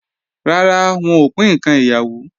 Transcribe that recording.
Rara, wọn ò pín ǹkan ìyàwó